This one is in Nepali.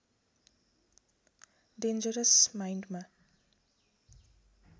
डेन्जरस माइण्डमा